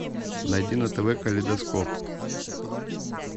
найди на тв калейдоскоп